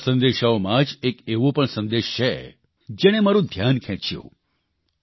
આ સંદેશામાં જ એક એવો પણ સંદેશ છે જેણે મારૂં ધ્યાન ખેંચ્યું